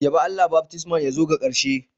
Yabe Allah, baftisman ya zo ga karshe.